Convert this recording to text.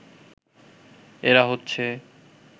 এরা হচ্ছে